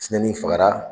Tiɲɛni fagara